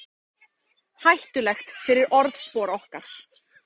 Hættulegt fyrir orðspor okkar